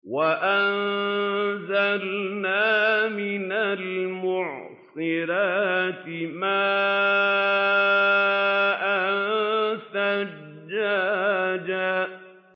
وَأَنزَلْنَا مِنَ الْمُعْصِرَاتِ مَاءً ثَجَّاجًا